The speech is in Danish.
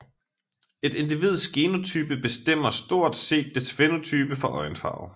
Et individs genotype bestemmer stort set dets fænotype for øjenfarve